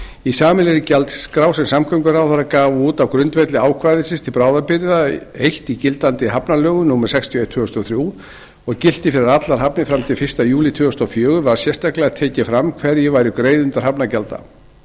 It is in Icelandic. í sameiginlegri gjaldskrá sem samgönguráðherra gaf út á grundvelli ákvæðis til bráðabirgða eins í gildandi hafnalögum númer sextíu og eitt tvö þúsund og þrjú og gilti fyrir allar hafnir fram til fyrsta júlí tvö þúsund og fjögur var sérstaklega tekið fram hverjir væru greiðendur hafnargjalda